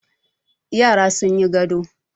Yara sun yi gado.